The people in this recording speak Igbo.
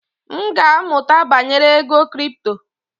M ga-amụta banyere ego kripto.